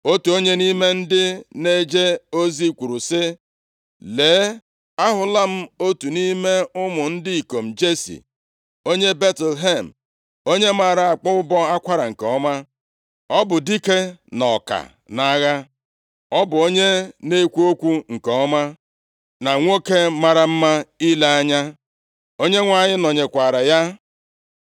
Otu onye nʼime ndị na-eje ozi kwuru sị, “Lee, ahụla m otu nʼime ụmụ ndị ikom Jesi, onye Betlehem, onye maara akpọ ụbọ akwara nke ọma. Ọ bụ dike na ọka nʼagha. Ọ bụ onye na-ekwu okwu nke ọma, na nwoke mara mma ile anya. Onyenwe anyị nọnyekwara ya.”